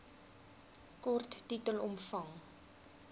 kort titel omvang